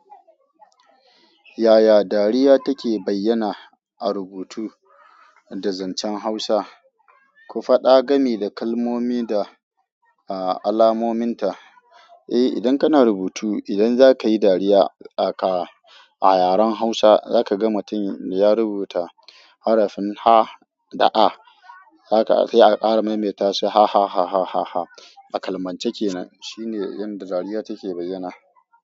Yaya dariya take bayyana a rubutu da zancen Hausa? Ku faɗa gami da kalmomi da alamomin ta. Eh, idan kana rubutu, idan za ka yi dariya aka a yaren Hausa, za ka ga matun ya rubuta harafin ha da a, za ka aha ƙara maimaita su hahaha. Kalmance kenan shine inda dariya take bayyana.